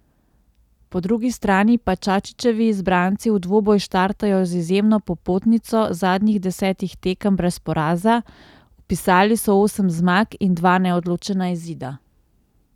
Po drugi strani pa Čačićevi izbranci v dvoboj štartajo z izjemno popotnico zadnjih desetih tekem brez poraza, vpisali so osem zmag in dva neodločena izida.